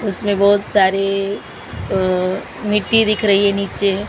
उसमें बहुत सारे अह मिट्टी दिख रही है नीचे।